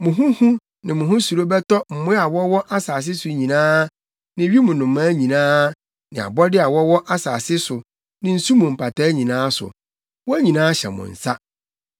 Mo ho hu ne mo ho suro bɛtɔ mmoa a wɔwɔ asase so nyinaa ne wim nnomaa nyinaa ne abɔde a wɔwɔ asase so ne nsu mu mpataa nyinaa so. Wɔn nyinaa hyɛ mo nsa.